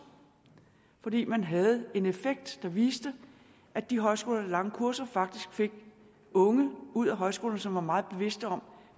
fordi man havde en effekt der viste at de højskoler lange kurser faktisk fik unge ud af højskolerne som var meget bevidste om